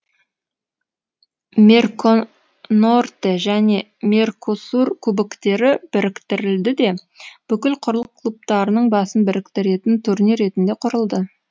мерконорте және меркосур кубоктері біріктірілді де бүкіл құрлық клубтарының басын біріктіретін турнир ретінде құрылды